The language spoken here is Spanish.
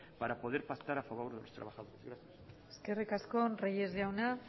para poder pactar a favor de los trabajadores gracias eskerrik asko reyes jauna